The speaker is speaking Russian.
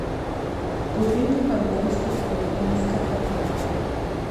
купи мне пожалуйста кофе нескафе